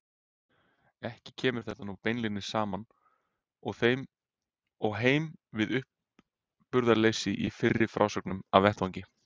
Ekki kemur þetta nú beinlínis saman og heim við uppburðarleysið í fyrri frásögnum af vettvangi.